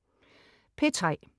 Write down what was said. P3: